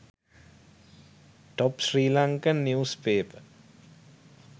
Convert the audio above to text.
top sri lankan news paper